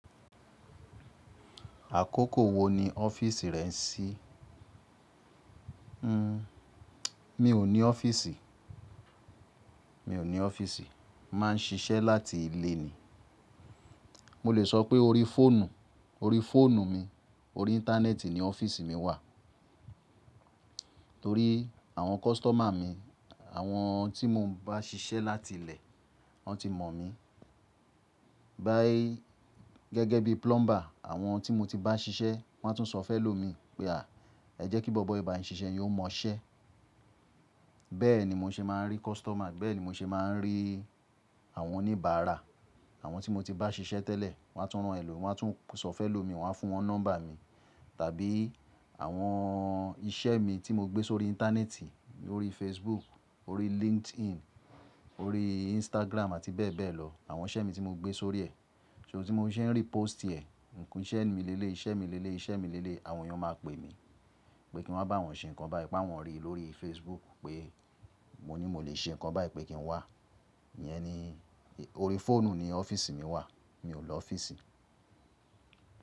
Àkókò wo ni ọ́fíìsì rẹ n sí? Hmm, mi ò ní ọ́fíìsì, mi ò ní ọ́fíìsì. Má n ṣiṣẹ́ láti ilé ni. Mo lè sọ pé orí fóònù, orí fóònù mi, orí íńtánẹ́ẹ̀tì ni ọ́fíìsì mi wà. Torí àwọn kọ́sítọ́mà mi, àwọn tí mo bá ṣiṣẹ́ láti ilé, wọn ti mọ̀ mi. Báyìí gẹ́gẹ́ bí plumber, àwọn tí mo ti bá ṣiṣẹ́, wọ́n á tún sọ fẹ́ lò mi. Pé a, ẹ jẹ́ kí bọbọ yi báyin ṣiṣẹ́ yín ó mọṣẹ́. Bẹ́ẹ̀ ni mo ṣe máa ń rí kọ́sítọ́mà, bẹ́ẹ̀ ni mo ṣe máa ń rí àwọn oníbàárà. Àwọn tí mo ti bá ṣiṣẹ́ tẹ́lẹ̀, wọ́n á tún rán ẹ lọ, wọ́n á tún sọ fẹ́ lò mi, wọ́n á fún wọn nọ́mbà mi. Tàbí àwọn iṣẹ́ mi tí mo gbé sórí íńtánẹ́ẹ̀tì, orí Facebook, orí LinkedIn, orí Instagram àti bẹ́ẹ̀ bẹ́ẹ̀ lọ. Àwọn iṣẹ́ mi tí mo gbé sórí ẹ̀, ṣó tí mo ṣe ń rí pósìtì ẹ̀, nǹkan iṣẹ́ mi lé lé, iṣẹ́ mi lé lé, iṣẹ́ mi lé lé, àwọn èèyàn máa pe mi. Pé kí n wá bá wọn ṣe nǹkan báyi pá awọ́n rí lórí Facebook pé mo ní mo lè ṣe nǹkan báyì pé kí n wá. Iyẹn ni, orí fóònù ni ọ́fíìsì mi wà. Mi ò lọ ọ́fíìsì.